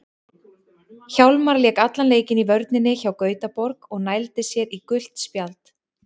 Hjálmar lék allan leikinn í vörninni hjá Gautaborg og nældi sér í gult spjald.